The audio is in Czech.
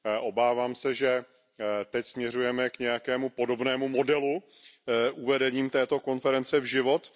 Obávám se, že teď směřujeme k nějakému podobnému modelu uvedením této konference v život.